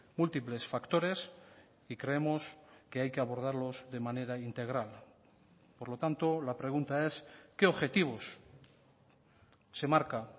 múltiples factores y creemos que hay que abordarlos de manera integral por lo tanto la pregunta es qué objetivos se marca